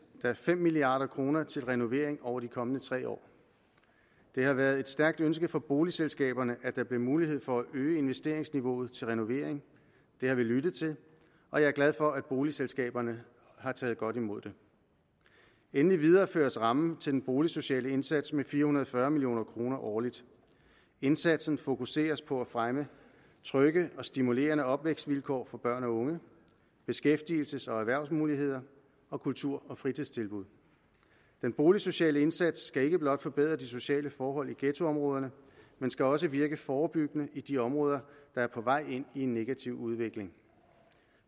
der fem milliard kroner til renovering over de kommende tre år det har været et stærkt ønske fra boligselskabernes at der bliver mulighed for at øge investeringsniveauet til renovering det har vi lyttet til og jeg er glad for at boligselskaberne har taget godt imod det endelig videreføres rammen til den boligsociale indsats med fire hundrede og fyrre million kroner årligt indsatsen fokuseres på at fremme trygge og stimulerende opvækstvilkår for børn og unge beskæftigelses og erhvervsmuligheder og kultur og fritidstilbud den boligsociale indsats skal ikke blot forbedre de sociale forhold i ghettoområderne men skal også virke forebyggende i de områder der er på vej ind i en negativ udvikling